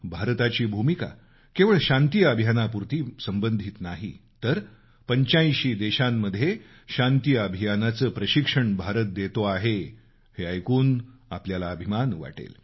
भारताची भूमिका केवळ शांती अभियानापुरती संबंधित नाही तर 85 देशांत शांतीअभियानाचं प्रशिक्षण भारत देतो आहे हे ऐकून आपल्याला अभिमान वाटेल